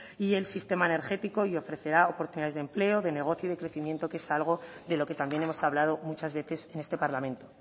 y el sistema energético y ofrecerá oportunidades de empleo de negocio y de crecimiento que es algo de lo que también hemos hablado muchas veces en este parlamento